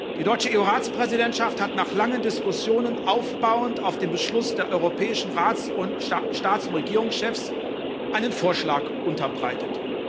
Die deutsche EU Ratspräsidentschaft hat nach langen Diskussionen, aufbauend auf dem Beschluss der europäischen Staats und Regierungschefs, einen Vorschlag unterbreitet.